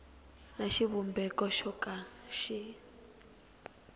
na xivumbeko xo ka xi